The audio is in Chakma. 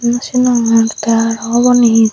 no sinogor tey aro ubani he te.